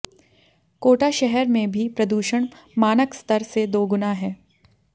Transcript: कोटा शहर में भी प्रदूषण मानक स्तर से दोगुना है